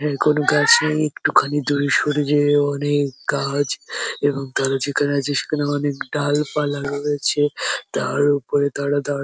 এখনো গাছ নেই একটুখানি দূরে সরে গিয়েও অনেক গাছ এবং তারা যেখানে আছে সেখানে অনেক ডালপালা রয়েছে তার উপরে তারা দাঁড়া।